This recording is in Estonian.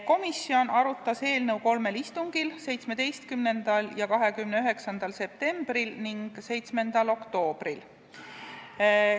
Komisjon arutas eelnõu kolmel istungil: 17. ja 29. septembril ning 7. oktoobril.